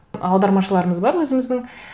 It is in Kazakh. аудармашыларымыз бар өзіміздің